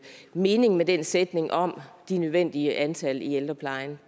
mening med den sætning om det nødvendige antal i ældreplejen